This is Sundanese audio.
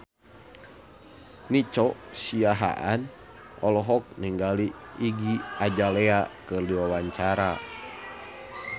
Nico Siahaan olohok ningali Iggy Azalea keur diwawancara